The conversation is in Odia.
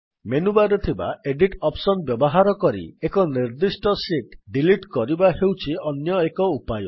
ମେନୁବାର୍ ରେ ଥିବା ଏଡିଟ୍ ଅପ୍ସନ୍ ବ୍ୟବହାର କରି ଏକ ନିର୍ଦ୍ଦିଷ୍ଟ ଶୀଟ୍ ଡିଲିଟ୍ କରିବା ହେଉଛି ଅନ୍ୟ ଏକ ଉପାୟ